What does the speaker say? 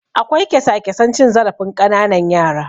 Akwai kyasa-kyasan cin zarafin ƙananan yara.